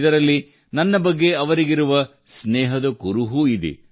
ಇದರಲ್ಲಿ ನನ್ನ ಬಗ್ಗೆ ಅವರಿಗಿರುವ ಸ್ನೇಹದ ಕುರುಹೂ ಇದೆ